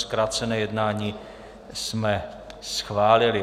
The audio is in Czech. Zkrácené jednání jsme schválili.